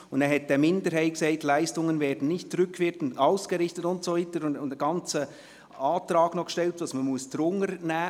Eine Minderheit sagte: «Leistungen werden nicht rückwirkend ausgerichtet […]» und so weiter, und sie stellte einen ganzen Antrag, was man noch dazunehmen müsse.